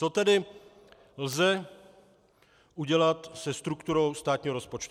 Co tedy lze udělat se strukturou státního rozpočtu?